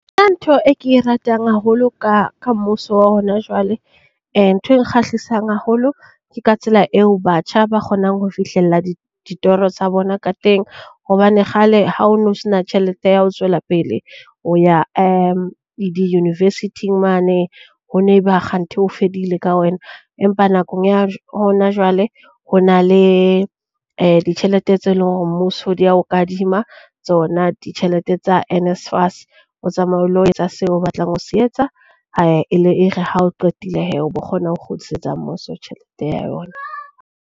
Ntho e ke e ratang haholo ka ka mmuso wa hona jwale, ntho e nkgahlisang haholo ke ka tsela eo batjha ba kgonang ho fihlella ditoro tsa bona ka teng. Hobane kgale ha o no sena tjhelete ya ho tswela pele o ya di-university-ng mane ho ne ba kganthe ho fedile ka wena. Empa nakong ya hona jwale ho na le ditjhelete tse leng hore mmuso di ya o kadima tsona, ditjhelete tsa NSFAS o tsamaye o lo etsa seo o batlang ho se etsa e le e re ha o qetile hee o bo kgona ho kgutlisetsa mmuso tjhelete ya ona.